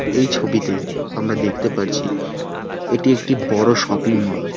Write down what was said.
এই ছবিতে আমরা দেখতে পারছি এটি একটি বড়ো শপিং মল ।